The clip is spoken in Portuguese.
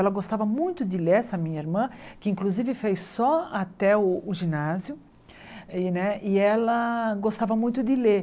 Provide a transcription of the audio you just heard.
Ela gostava muito de ler, essa minha irmã, que inclusive fez só até o o ginásio, e né e ela gostava muito de ler.